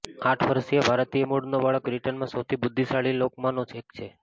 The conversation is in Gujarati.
આઠ વર્ષીય ભારતીય મૂળનો બાળક બ્રિટનમાં સૌથી બુદ્ધિશાળી લોકોમાંનો એક છે